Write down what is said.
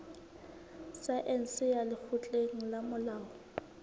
saense ya lekgotleng la molao